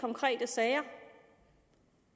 konkrete sager